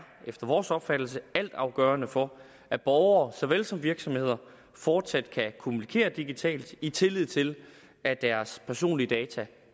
efter vores opfattelse altafgørende for at borgere såvel som virksomheder fortsat kan kommunikere digitalt i tillid til at deres personlige data